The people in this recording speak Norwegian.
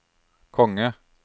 konge